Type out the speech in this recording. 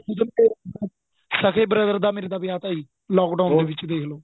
ਖੁੱਦ ਸਕੇਂ brother ਮੇਰੇ ਦਾ ਵਿਆਹ ਤਾਂ ਜੀ lock down ਦੇ ਦੇਖਲੋ